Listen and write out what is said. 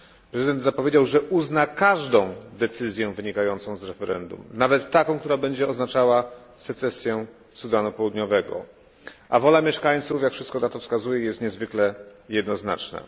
Prezydent zapowiedział, że uzna każdą decyzję wynikającą z referendum, nawet taką, która będzie oznaczała secesję Sudanu Południowego, a wola mieszkańców jak wszystko na to wskazuje jest niezwykle jednoznaczna.